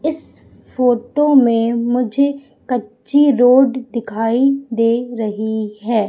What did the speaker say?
इस फोटो मे मुझे कच्ची रोड दिखाई दे रही है।